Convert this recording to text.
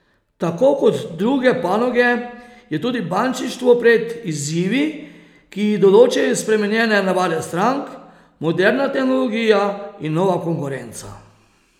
Tako kot druge panoge je tudi bančništvo pred izzivi, ki jih določajo spremenjene navade strank, moderna tehnologija in nova konkurenca.